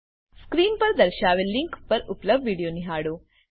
screen પર દર્શાવેલ link પર ઉપલબ્ધ વિડીયો નિહાળો